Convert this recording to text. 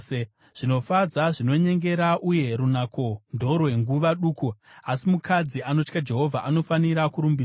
Zvinofadza zvinonyengera, uye runako ndorwenguva duku; asi mukadzi anotya Jehovha anofanira kurumbidzwa.